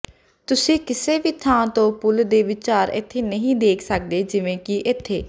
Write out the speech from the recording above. ਤੁਸੀਂ ਕਿਸੇ ਵੀ ਥਾਂ ਤੋਂ ਪੁਲ ਦੇ ਵਿਚਾਰ ਇੱਥੇ ਨਹੀਂ ਦੇਖ ਸਕਦੇ ਜਿਵੇਂ ਕਿ ਇੱਥੇ